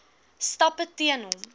stappe teen hom